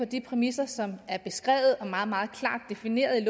de præmisser som er beskrevet og meget meget klart defineret i